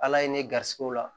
Ala ye ne garisigɛw la